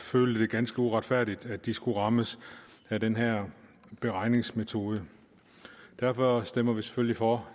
følte det ganske uretfærdigt at de skulle rammes af den her beregningsmetode derfor stemmer vi selvfølgelig for